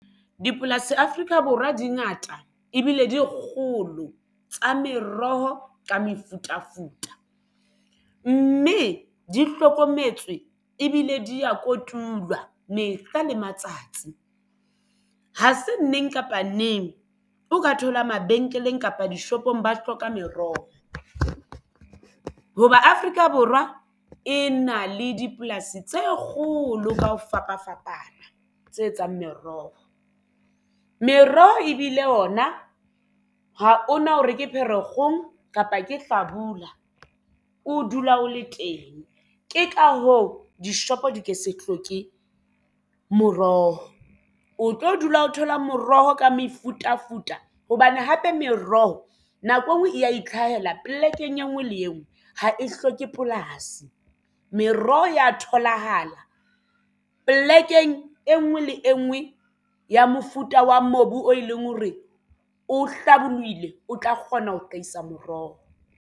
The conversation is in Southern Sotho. Dipolasi Afrika Borwa dingata ebile di kgolo tsa meroho ka mefutafuta mme di hlokometswe ebile di ya kotulwa mehla le matsatsi ha se neng kapa neng o ka thola mabenkeleng kapa dishopong ba hloka meroho hoba Afrika Borwa e na le dipolasi tse kgolo ka ho fapafapana tse etsang meroho. Meroho ebile ona ha o na hore ke Pherekgong kapa ke hlabula o dula o le teng. Ke ka hoo dishopo di ke se hloke moroho o tlo dula o thola moroho ka mefutafuta hobane hape meroho nako e nngwe e ya itlhahela polekeng e ngwe le engwe ha e hloke polasi meroho ya tholahala polekeng e nngwe le e nngwe ya mofuta wa mobu o e leng hore o hlabolohile o tla kgona ho hlahisa moroho.